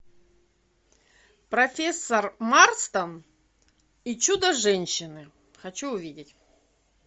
профессор марстон и чудо женщины хочу увидеть